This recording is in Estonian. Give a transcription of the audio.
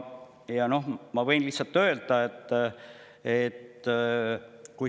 Ma võin lihtsalt öelda seda.